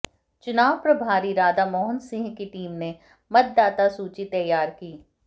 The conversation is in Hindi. चुनाव प्रभारी राधामोहन सिंह की टीम ने मतदाता सूची तैयार की